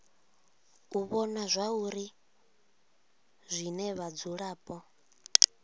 u vhona zwauri zwine vhadzulapo